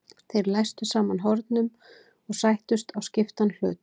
Þeir læstu saman hornum og sættust á skiptan hlut.